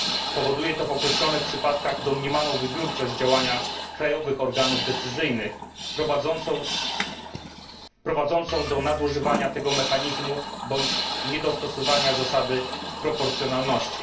Powoduje to w określonych przypadkach domniemaną wybiórczość działania krajowych organów decyzyjnych prowadzącą do nadużywania tego mechanizmu bądź niedostosowywania zasady proporcjonalności.